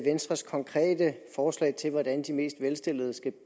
venstres konkrete forslag til hvordan de mest velstillede skal